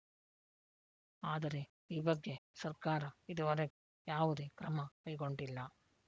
ಆದರೆ ಈ ಬಗ್ಗೆ ಸರ್ಕಾರ ಇದುವರೆಗೆ ಯಾವುದೇ ಕ್ರಮ ಕೈಗೊಂಡಿಲ್ಲ